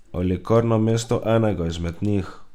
Ali kar namesto enega izmed njih.